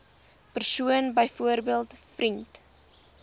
persoon byvoorbeeld vriend